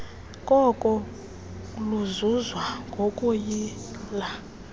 koko luzuzwa ngokuyila